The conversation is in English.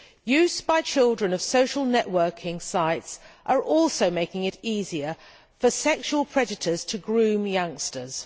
Use by children of social networking sites is also making it easier for sexual predators to groom youngsters.